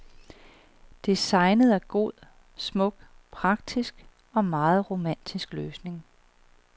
Designet er en god, smuk, praktisk og meget romantisk løsning.